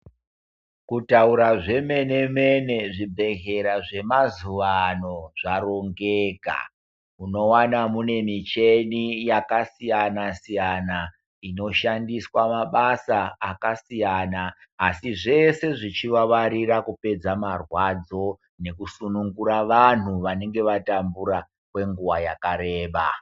Kutaura zvemene-mene zvibhedhlera zvemazuwa ano zvarongeka. Unowana mune micheni yakasiyana-siyana, inoshandiswa mabasa akasiyana, asi zvese zvichivavarira kupedza marwadzo, nekusunungura vanhu vanenge vatambura kwenguwa yakareba.